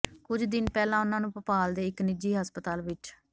ਕੁੱਝ ਦਿਨ ਪਹਿਲਾਂ ਉਨ੍ਹਾਂ ਨੂੰ ਭੋਪਾਲ ਦੇ ਇੱਕ ਨਿੱਜੀ ਹਸਪਤਾਲ ਵਿੱਚ